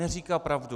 Neříká pravdu.